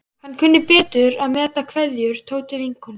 Hann kunni betur að meta kveðjur Tótu vinnukonu.